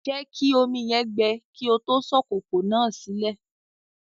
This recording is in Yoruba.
Jẹ̀kí omi yẹn gbẹ̀ kí o tó sọ kòkò náà silẹ̀